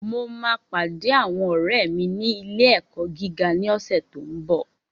Mo máa pàdé àwọn ọ̀rẹ́ mi ní ilé-ẹ̀kọ́ gíga ní ọ̀sẹ̀ tó n bọ̀